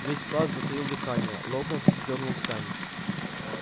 весь класс затаил дыхание локонс сдёрнул ткань